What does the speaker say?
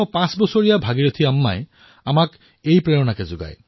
আমাৰ ১০৫ বৰ্ষীয় ভাগিৰথী আম্মাই আমাক এই প্ৰেৰণাই দিছে